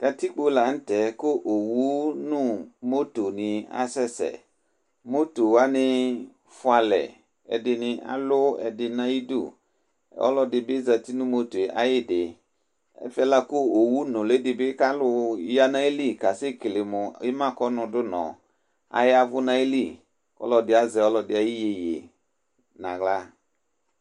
katikpo lantɛ kò owu no moto ni asɛ sɛ moto wani fua alɛ ɛdini alu ɛdi n'ayi du ɔlò ɛdi bi zati no motoe ayidi ɛfɛ la kò owu nuli di bi k'alò ya n'ayili ka sɛ kele mo ima kɔ nu du nɔ aya vu n'ayili ɔlò ɛdi azɛ ɔlò ɛdi ayi yeye n'ala.